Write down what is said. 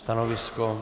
Stanovisko?